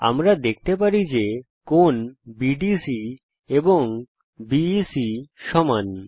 আমরা দেখতে পারি যে কোণ বিডিসি এবং বিইসি হল সমান